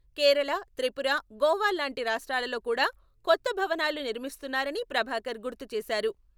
కేరళ, త్రిపుర, గోవాల్లాంటి రాష్ట్రాలలో కూడా కొత్త భవనాలు నిర్మిస్తున్నారని ప్రభాకర్ గుర్తు చేశారు.